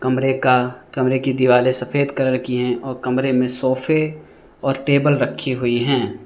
कमरे का कमरे की दीवारें सफेद कलर की हैं और कमरे में सोफे और टेबल रखी हुई हैं।